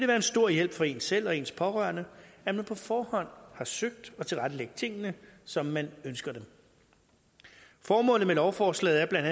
være en stor hjælp for en selv og ens pårørende at man på forhånd har søgt og tilrettelagt tingene som man ønsker dem formålet med lovforslaget er blandt